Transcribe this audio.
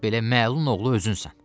Belə məlun oğlu özünsən.